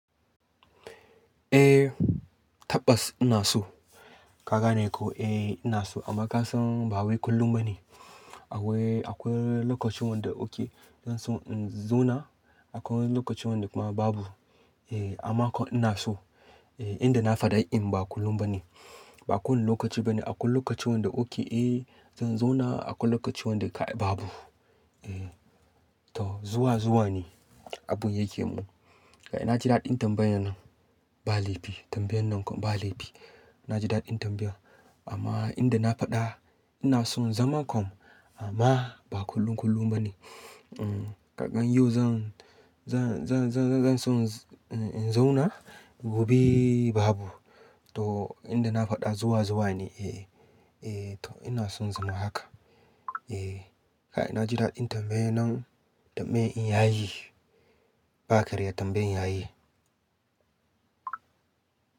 Eh tabbas ina so. Ka gane ko? Eh ina so amma ka san ba wai kullum ba ne. Akwai, akwai lokaci wanda oke zan so in zauna, akwai lokaci wanda kuma babu. Eh amma kom ina so. Eh inda na faɗa in ba kullum ba ne. Ba kowane lokaci ba ne. Akwai lokaci wanda oke eh zan zauna, akwai lokaci wanda kai babu. Eh to zuwa zuwa ne abun yake mun. Kai na ji daɗin tambayan nan, ba laifi tambayan nan kom ba laifi. Na ji daɗin tambaya amma inda na faɗa ina son zaman kom amma ba kullum kullum ba ne. Kakan yau zan, zan, zan, zan, zan so in zauna, gobe babu. To inda na faɗa zuwa zuwa ne. Eh, eh to ina son zama haka. Eh kai na ji daɗin tambayan nan, tambayi in yayi. Ba karya tambayi yayi.